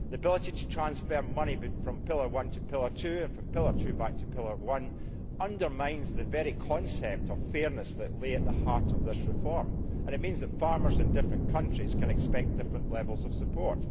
The ability to transfer money from pillar one to pillar two and from pillar two back to pillar one undermines the very concept of fairness that lay at the heart of this reform and means that farmers in different countries can expect different levels of support.